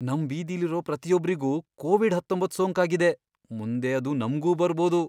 ನಮ್ ಬೀದಿಲಿರೋ ಪ್ರತಿಯೊಬ್ರಿಗೂ ಕೋವಿಡ್ ಹತ್ತೊಂಬತ್ತ್ ಸೋಂಕಾಗಿದೆ, ಮುಂದೆ ಅದು ನಮ್ಗೂ ಬರ್ಬೋದು.